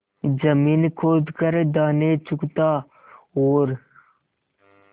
जमीन खोद कर दाने चुगता और